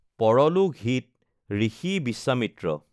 পৰলোক হিত, ঋষি বি্শ্বামিত্ৰ,